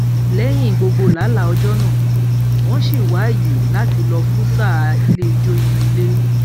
lẹyìn gbogbo làálàá ọjọ náà wọn sì wá ààyè láti lọ fún sáà ilé ijó inú ilé